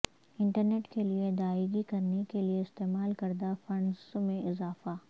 internet کے لئے ادائیگی کرنے کے لئے استعمال کردہ فنڈز میں اضافہ